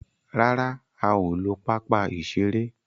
ràrá a o ló papa iṣere